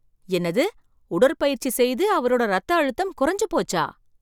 என்னது உடற்பயிற்சி செய்து அவரோட ரத்தம் அழுத்தம் குறஞ்சு போச்சா!